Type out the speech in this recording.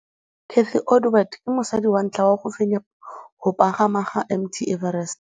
Cathy Odowd ke mosadi wa ntlha wa go fenya go pagama ga Mt Everest.